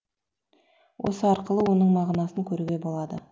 осы арқылы оның мағынасын көруге болады